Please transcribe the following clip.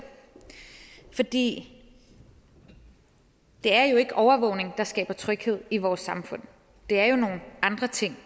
for det er jo ikke overvågning der skaber tryghed i vores samfund det er jo nogle andre ting